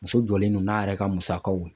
Muso jɔlen don n'a yɛrɛ ka musakaw